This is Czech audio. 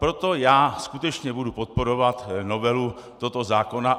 Proto já skutečně budu podporovat novelu tohoto zákona.